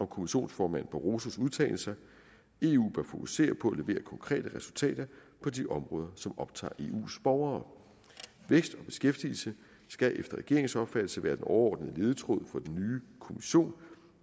kommissionsformand barrosos udtalelser eu bør fokusere på at levere konkrete resultater på de områder som optager eus borgere vækst og beskæftigelse skal efter regeringens opfattelse være den overordnede ledetråd for den nye kommission